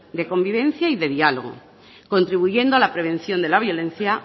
de convivencia y de diálogo contribuyendo a la prevención de la violencia